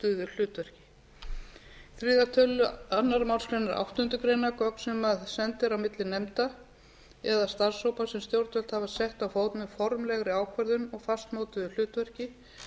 hlutverki í þriðja tölulið annarri málsgrein áttundu greinar gögn sem send eru á milli nefnda eða starfshópa sem stjórnvöld hafa sett á fót með formlegri ákvörðun og fastmótuðu hlutverki